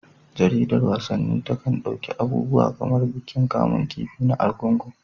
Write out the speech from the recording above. Jaridar wasanni takan ɗauki abubuwa kamar bikin kamun kifi na Argungu.